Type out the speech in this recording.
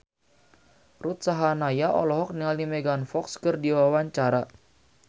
Ruth Sahanaya olohok ningali Megan Fox keur diwawancara